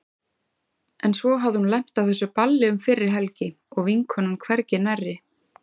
En svo hafði hún lent á þessu balli um fyrri helgi og vinkonan hvergi nærri.